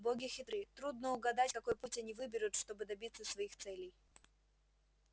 боги хитры трудно угадать какой путь они выберут чтобы добиться своих целей